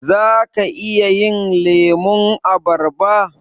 Zaka iya yin lemun abarba?